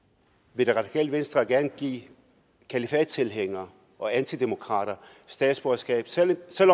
vil det radikale venstre gerne give kalifattilhængere og antidemokrater statsborgerskab selv